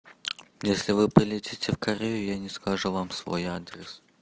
если вы полетите в корею я не скажу вам свой адрес